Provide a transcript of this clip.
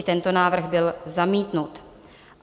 I tento návrh byl zamítnut.